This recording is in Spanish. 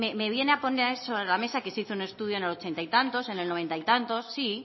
me viene a poner sobre la mesa que se hizo un estudio en el ochenta y tantos en el noventa y tantos sí